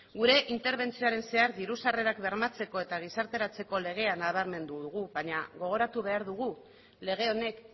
gure interbentzioaren zehar diru sarrerak bermatzeko eta gizarteratzeko legea nabarmendu dugu baina gogoratu behar dugu lege honek